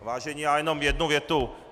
Vážení, já jenom jednu větu.